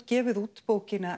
gefið út bókina